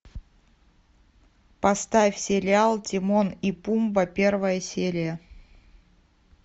поставь сериал тимон и пумба первая серия